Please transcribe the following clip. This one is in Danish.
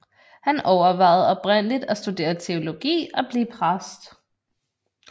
Han overvejede oprindeligt at studere teologi og blive præst